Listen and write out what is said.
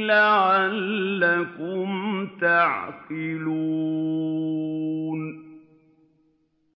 لَعَلَّكُمْ تَعْقِلُونَ